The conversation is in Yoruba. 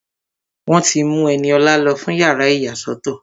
Wọ́n ti mú Ẹniọlá lọ fún yàrá ìyàsọ́tọ̀